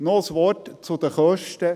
Noch ein Wort zu den Kosten;